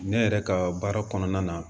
Ne yɛrɛ ka baara kɔnɔna na